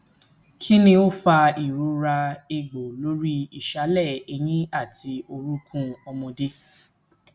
kini o fa irora egbo lori isale eyin ati orukun omode